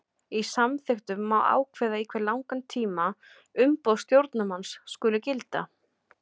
Í samþykktum má ákveða í hve langan tíma umboð stjórnarmanns skuli gilda.